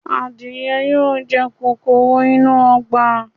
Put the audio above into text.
Adìẹ yóò jẹ kòkòrò inú ọgbà.